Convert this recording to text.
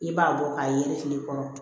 I b'a bɔ k'a yelen kile kɔnɔ